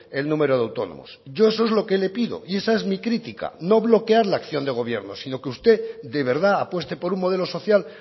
el número de autónomos yo eso es lo que le pido y esa es mi crítica no bloquear la acción de gobierno sino que usted de verdad apueste por un modelo social